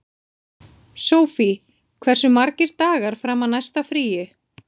Sofie, hversu margir dagar fram að næsta fríi?